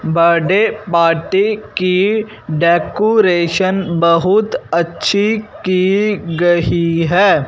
Birth day party की decoration बहुत अच्छी की गही है।